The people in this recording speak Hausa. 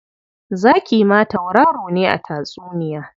Zaki ma tauraro ne a tatsuniya.